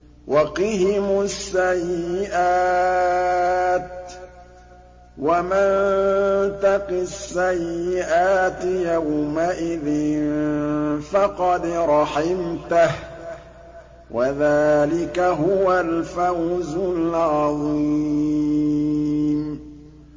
وَقِهِمُ السَّيِّئَاتِ ۚ وَمَن تَقِ السَّيِّئَاتِ يَوْمَئِذٍ فَقَدْ رَحِمْتَهُ ۚ وَذَٰلِكَ هُوَ الْفَوْزُ الْعَظِيمُ